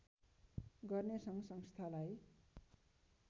गर्ने सङ्घ संस्थालाई